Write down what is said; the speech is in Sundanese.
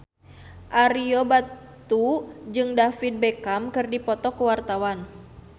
Ario Batu jeung David Beckham keur dipoto ku wartawan